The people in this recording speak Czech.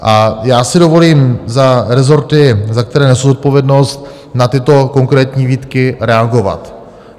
A já si dovolím za rezorty, za které nesu zodpovědnost, na tyto konkrétní výtky reagovat.